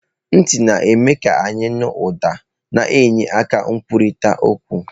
Ntị na-eme ka anyị nụ ụda, na-enye aka na nkwurịta okwu.